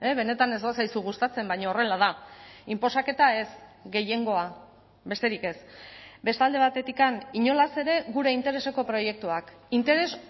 benetan ez bazaizu gustatzen baina horrela da inposaketa ez gehiengoa besterik ez beste alde batetik inolaz ere gure intereseko proiektuak interes